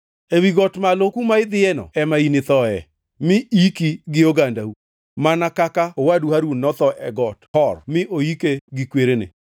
Ewi got malo kuma idhiyoeno ema inithoe, mi iki gi ogandau, mana kaka owadu Harun notho e got Hor mi oike gi kwerene.